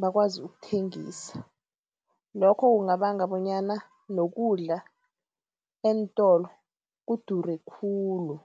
bakwazi ukuthengisa. Lokho kungabanga bonyana nokudla eentolo kudure khulu.